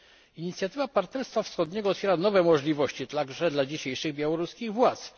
Inicjatywa partnerstwa wschodniego otwiera nowe możliwości także dla dzisiejszych białoruskich